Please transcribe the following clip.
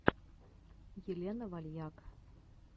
елена вальяк